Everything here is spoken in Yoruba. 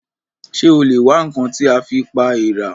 Ṣé o lè wá ǹkan tí a fi pa èèrà?